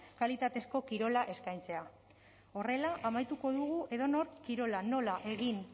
kalitatezko kirola eskaintzea horrela amaituko dugu edonork kirola nola egin